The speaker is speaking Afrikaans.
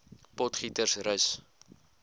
potgietersrus